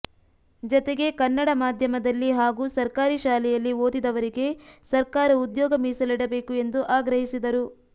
ಜತೆಗೆ ಕನ್ನಡ ಮಾಧ್ಯಮದಲ್ಲಿ ಹಾಗು ಸರ್ಕಾರಿ ಶಾಲೆಯಲ್ಲಿ ಓದಿದವರಿಗೆ ಸರ್ಕಾರ ಉದ್ಯೋಗ ಮೀಸಲಿಡಬೇಕು ಎಂದು ಆಗ್ರಹಿಸಿದರು